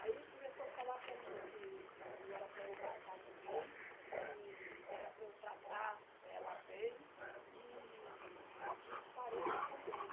Aí começou a falar para mim que que não era para eu matar ninguém e que era para eu tratar ela bem e e os parentes também.